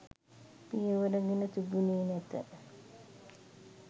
පියවර ගෙන තිබුණේ නැත